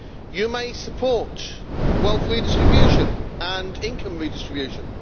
you may support wealth redistribution and income redistribution